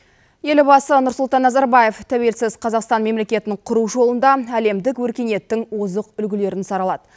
елбасы нұрсұлтан назарбаев тәуелсіз қазақстан мемлекетін құру жолында әледік өркениеттің озық үлгілерін саралады